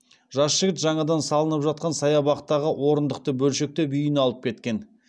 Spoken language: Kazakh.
жас жігіт жаңадан салынып жатқан саябақтағы орындықты бөлшектеп үйіне алып кеткен